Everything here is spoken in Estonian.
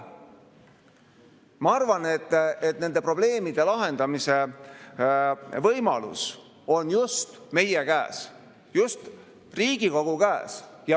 Ma arvan, et nende probleemide lahendamise võimalus on just meie käes, Riigikogu käes.